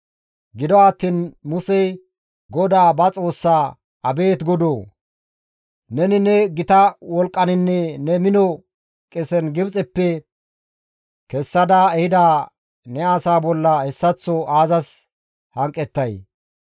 Gido attiin Musey GODAA ba Xoossaa, «Abeet Godoo! Neni ne gita wolqqaninne ne mino qesen Gibxeppe kessada ehida ne asaa bolla hessaththo aazas hanqettay?